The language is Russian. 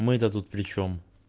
мы то тут причём